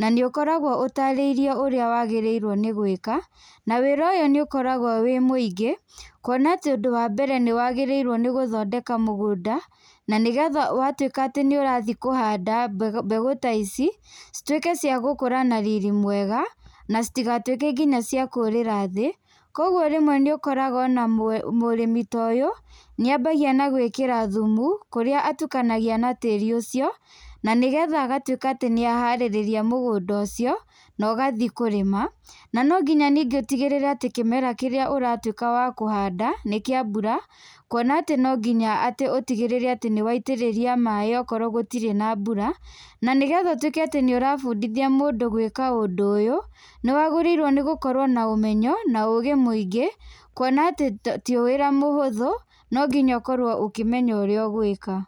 nanĩ ũkoragwo ũtarĩirio nĩ ũria ũbatie nĩ gwĩka, na wĩra ũyũ nĩ ũkoragwo wĩ mũingĩ kwona atĩ ũndũ wa mbere nĩ wagĩrĩirwo nĩ gũthondeka mũgũnda, na nĩgetha wa tuĩka atĩ nĩ ũrathiĩ kũhanda mbegũ ta ici cituĩke wa gũkũra na riri mwega na cigatuĩke nginya cia kũrĩra thĩ kwoguo rĩmwe nĩ ũkoraga ona mũrĩmi ta ũyũ nĩ ambagia na gwĩkĩra thumu kũrĩa atukanagia na tĩri ucio na nĩgetha agatuĩka atĩ nĩ aharĩrĩria mũgũnda ũcio wathiĩ kũrĩma na nonginya rĩngĩ ũtigĩtĩre atĩ kĩmera kĩrĩa ũratuĩka wa kũhanda nĩ kĩa mbura kwona atĩ no nginya atĩ ũtigĩrĩre nĩ waitĩrĩria maĩ okorwo gũtirĩ na mbura, na nĩgetha ũtuĩke atĩ nĩ ũrabundithia mũndũ gwĩka ũndũ ũyũ nĩ wagĩrĩirwo gũkorwo na ũmenyo, na ũgĩ mũingĩ kwona atĩ ti wĩra mũhũthũ nonginya ũkorwo ũkĩmenya ũrĩa ũgwĩka.